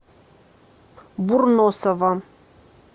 бурносова